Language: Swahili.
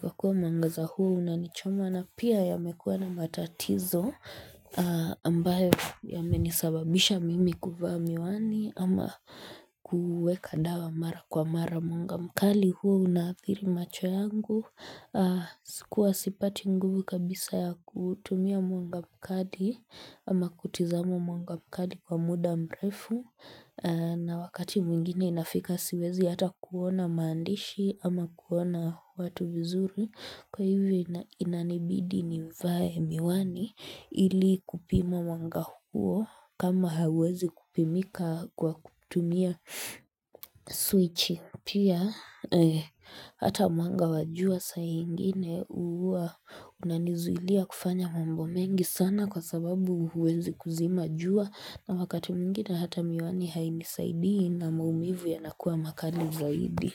Kwa kuwa mwangaza huo unanichoma na pia yamekuwa na matatizo ambayo yamenisababisha mimi kuvaa miwani ama kueka dawa mara kwa mara mwanga mkali huwa unaathiri macho yangu. Usiku huwa sipati nguvu kabisa ya kutumia mwanga mkali ama kutizama mwanga mkali kwa muda mrefu na wakati mwingine inafika siwezi hata kuona maandishi ama kuona watu vizuri Kwa hivyo inanibidi nivae miwani ili kupima mwanga huo kama hauwezi kupimika kwa kutumia switchi Pia hata mwanga wa jua saa ingine huwa unanizulia kufanya mambo mengi sana kwa sababu huwezi kuzima jua na wakati mwingine hata miwani hainisaidii na maumivu yanakuwa makali zaidi.